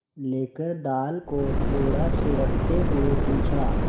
लेकर दाल को थोड़ा सुड़कते हुए पूछा